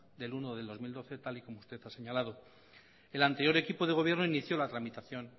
uno dos mil doce tal y como usted ha señalado el anterior equipo de gobierno inició la tramitación